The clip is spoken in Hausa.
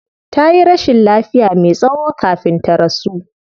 Tayi rashin lafiya me tsayo kafin ta rasu